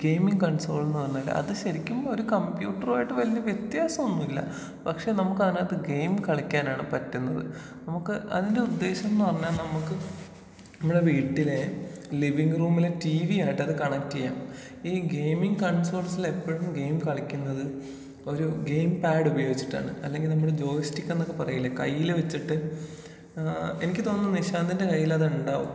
Gaming കൺസോളെന്ന് പറഞ്ഞാല് അത് ശരിക്കും ഒരു കമ്പ്യൂട്ടറായിട്ട് വല്ല്യ വ്യത്യാസമൊന്നുമില്ലാ. പക്ഷേ നമുക്കതിനകത്ത് ഗെയിം കളിക്കാനാണ് പറ്റുന്നത്. നമുക്ക് അതിന്റെ ഉദ്ദേശം എന്ന് പറഞ്ഞാ നമുക്ക് നമ്മുടെ വീട്ടിലേ ലിവിങ് റൂമിലെ ടീവി ആയിട്ടത് കണക്റ്റ് ചെയ്യാം.ഈ ഗെയ്മിങ് കൺസോൾസിലെപ്പഴും ഗെയിം കളിക്കുന്നത് ഒരു ഗെയിം പാഡ് ഉപയോഗിചിട്ടാണ്.അല്ലെങ്കി നമ്മള് ജോയ് സ്റ്റിക്ക് എന്നൊക്കെ പറയില്ലേ? കയ്യില് വെച്ചിട്ട് ഏഹ് എനിക്ക് തോന്നുന്നു നിശാന്തിന്റെ കയ്യിലത് ഉണ്ടാവും.